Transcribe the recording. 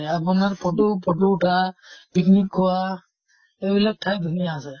আপোনাত photo photo উঠা picnic খোৱা এইবিলাক ঠাই ধুনীয়া আছে।